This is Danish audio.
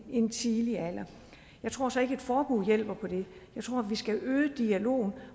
en tidlig alder jeg tror så ikke at et forbud hjælper på det jeg tror at vi skal øge dialogen